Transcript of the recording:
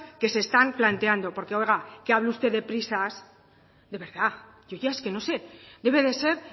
que se están planteando porque oiga que hable usted de prisas de verdad yo ya es que no sé debe de ser